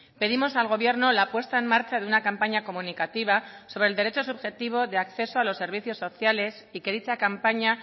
pedimos al gobierno la puesta en marcha de una campaña comunicativa sobre el derecho subjetivo de acceso a los servicios sociales y que dicha campaña